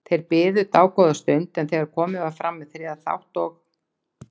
Þeir biðu í dágóða stund en þegar komið var fram í þriðja þátt og